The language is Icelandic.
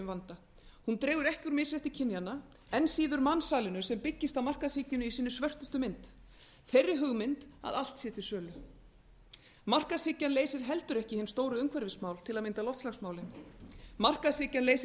vanda hún dregur ekki úr misrétti kynjanna enn síður mansalinu sem byggist á mansalinu í sinni svörtustu mynd þeirri hugmynd að allt sé til sölu markaðshyggjan leysir heldur ekki hin stóru umhverfismál til að mynda loftslagsmálin markaðshyggjan leysir